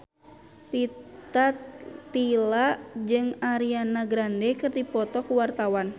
Rita Tila jeung Ariana Grande keur dipoto ku wartawan